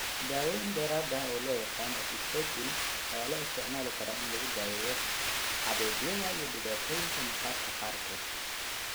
Daawooyin dheeraad ah oo loo yaqaan acitretin ayaa loo isticmaali karaa in lagu daweeyo xabeebyada iyo dhibaatooyinka maqaarka qaarkood.